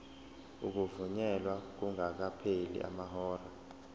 ukuvunyelwa kungakapheli amahora